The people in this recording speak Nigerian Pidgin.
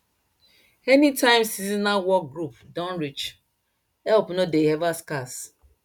anytime seasonal work group don reach help no dey ever scarce